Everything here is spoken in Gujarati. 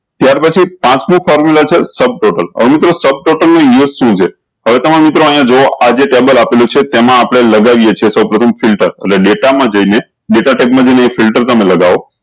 ત્યાર પછી formula છે sub total હવે મિત્રો sub total નું use શું છે હવે તમારે મિત્રો અયીયા જુવો આજે ટેબલ આપેલું છે તેમાં આપળે લગાવીએ છે સૌ ફિલ્ટર એટલે ડેટા માં જયીયે ને ડેટા ટેબ ને જયીયે ને એ ફિલ્ટર તમે લગાવ